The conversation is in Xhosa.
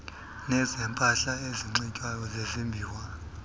nezempahla enxitywayo ezezimbiwa